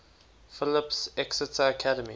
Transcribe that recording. phillips exeter academy